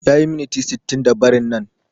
Yayi miniti sittinda barin nan